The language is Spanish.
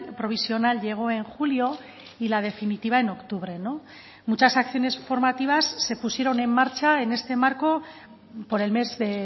provisional llegó en julio y la definitiva en octubre muchas acciones formativas se pusieron en marcha en este marco por el mes de